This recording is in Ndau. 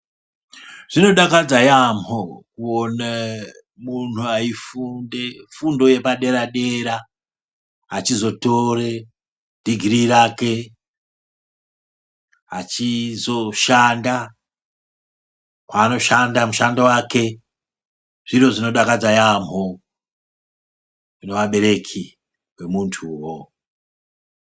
Zvinodakadza yamho kuone munhu eifunde fundo yepadera-dera achizotore dhigirii rake achizoshanda kwaanoshanda mushando wake zviro zvinodakadza yamho kune abereki emuntuwo.